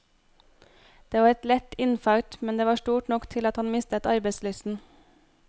Det var et lett infarkt, men det var stort nok til at han mistet arbeidslysten.